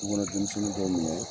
Tu kɔnɔ denmisɛnni dɔw minɛ